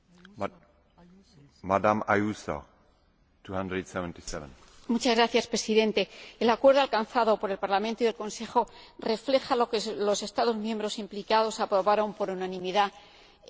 Señor Presidente, el acuerdo alcanzado por el Parlamento y el Consejo refleja lo que los Estados miembros implicados aprobaron por unanimidad en la OMI.